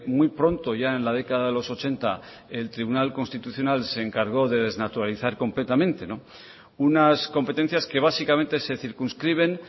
muy pronto ya en la década de los ochenta el tribunal constitucional se encargó de desnaturalizar completamente unas competencias que básicamente se circunscriben